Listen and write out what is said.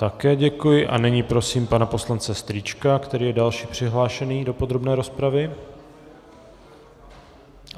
Také děkuji a nyní prosím pana poslance Strýčka, který je další přihlášený do podrobné rozpravy.